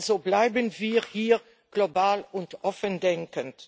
Also bleiben wir hier global und offen denkend.